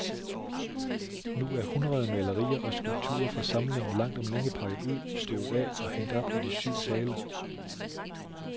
Nu er hundrede malerier og skulpturer fra samlingen langt om længe pakket ud, støvet af og hængt op i de syv sale.